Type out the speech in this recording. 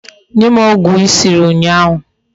Nye m ogwu I siri unyahu